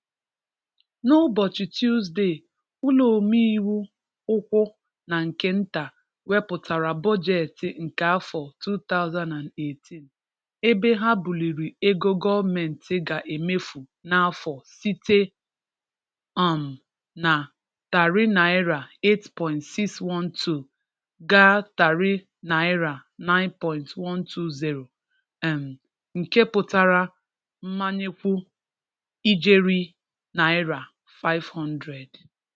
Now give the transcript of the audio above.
N'ụbọchị Tuusde, Ụlọomeiwu ụkwụ na nke nta wepụtara Bọjeti nke afọ 2018, ebe ha bulirị ego gọọmenti ga-emefu n'afọ site um na tarịị naira 8.612 ga tarịị naira 9.120, um nke pụtara mmanyekwu ijeri naira 500.